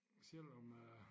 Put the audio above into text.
Selvom øh